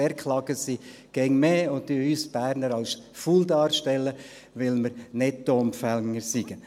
Dort klagen sie immer mehr und stellen uns Berner als faul dar, weil wir Nettoempfänger seien.